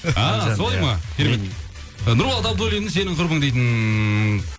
а солай ма керемет і нұрболат абуллиннің сенің құрбың дейтін